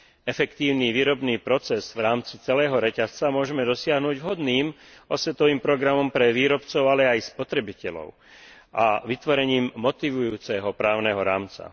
Efektívny výrobný proces v rámci celého reťazca môžeme dosiahnuť vhodným osvetovým programom pre výrobcov, ale aj spotrebiteľov a vytvorením motivujúceho právneho rámca.